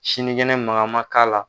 Sinigɛnɛ mangama k'ala.